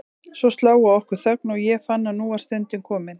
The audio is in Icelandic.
Svo sló á okkur þögn og ég fann að nú var stundin komin.